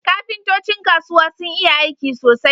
Kafintocin kasuwa sun iya aiki sosai